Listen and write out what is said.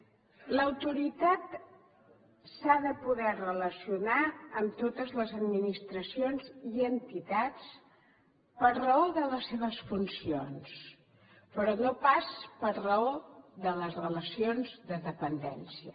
l’autoritat s’ha de poder relacionar amb totes les administracions i entitats per raó de les seves funcions però no pas per raó de les relacions de dependència